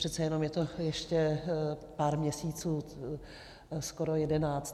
Přece jenom je to ještě pár měsíců, skoro jedenáct.